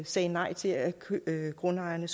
sagde nej til at grundejerne